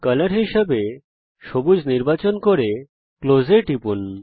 colour হিসাবে সবুজ নির্বাচন করে ক্লোজ এ টিপুন